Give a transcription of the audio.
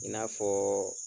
I n'a fɔɔ